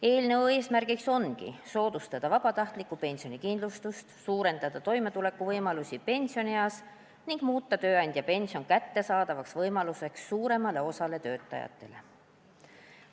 Eelnõu eesmärk ongi soodustada vabatahtlikku pensionikindlustust, suurendada toimetulekuvõimalusi pensionieas ning muuta tööandjapension kättesaadavaks võimaluseks suuremale osale töötajatele.